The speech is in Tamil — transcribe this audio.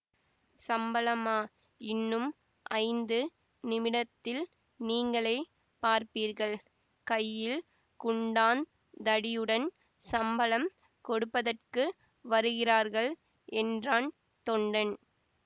சம்பளமா இன்னும் ஐந்து நிமிடத்தில் நீங்களே பார்ப்பீர்கள் கையில் குண்டாந் தடியுடன் சம்பளம் கொடுப்பதற்கு வருகிரார்கள் என்றான் தொண்டன்